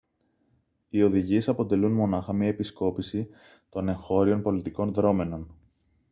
οι οδηγίες αποτελούν μονάχα μια επισκόπηση των εγχώριων πολιτικών δρώμενων